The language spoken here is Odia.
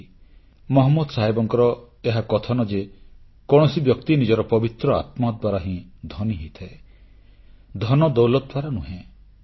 ପୈଗମ୍ବର ମହମ୍ମଦଙ୍କର ଏହା କଥନ ଯେ କୌଣସି ବ୍ୟକ୍ତି ନିଜର ପବିତ୍ର ଆତ୍ମା ଦ୍ୱାରା ହିଁ ଧନୀ ହୋଇଥାଏ ଧନଦୌଲତ ଦ୍ୱାରା ନୁହେଁ